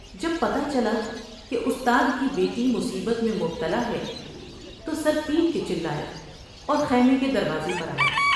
جب پتہ چلا کہ استاد کی بیٹی مصیبت میں مبتلا ہے تو سر پیٹ کے چلایا اور خیمے کے دروازے پر آ یا ۔